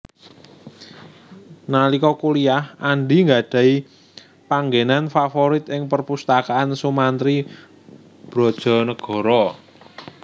Nalika kuliyah Andy nggadhahi panggènan favorit ing perpustakaan Soemantri Brodjonegoro